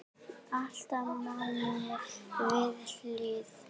Alltaf manni við hlið.